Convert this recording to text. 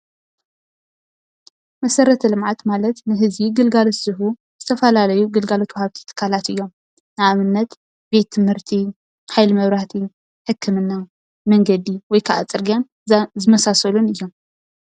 መሰረተ ልምዓት ማለት ንህዝቢ ግልጋሎት ዝህቡ ዝተፈላለዩ ግልጋሎት ወሃብቲ ትካላት እዮም። ንኣብነት ቤት ትምህርቲ፣ ሓይሊ መብራህቲ ፣ ሕክምና ፣ ምንገዲ ወይከኣ ፅርግያ ዝኣ ዝመሳሰሉን እዮም።